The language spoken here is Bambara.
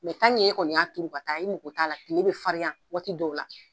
e kɔni y'a turu ka taa i mago t'a la. tile bɛ farinya waati dɔw la.